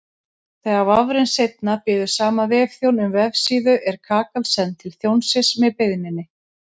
Þegar vafrinn seinna biður sama vefþjón um vefsíðu er kakan send til þjónsins með beiðninni.